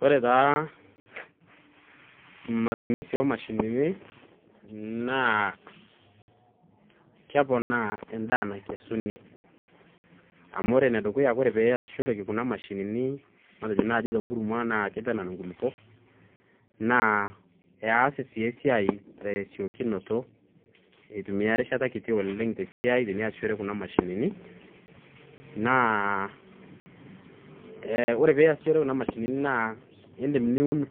Wore taa matumisi oo mashinini, naa, keponaa endaa naikesuni. Amu wore enedukuya wore pee easishoreki kuna mashinini matejo naai tenkurma naa kitanan inkulupop, naa eas aii esiai tesiokunoto, aitumia erishata kiti oleng', esiai teniasishore kuna mashinini, naa wore pee iasishore kuna mashinini naa iindim niun